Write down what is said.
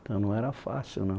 Então, não era fácil, não.